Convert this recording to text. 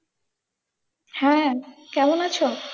হ্যাঁ, কেমন আছো?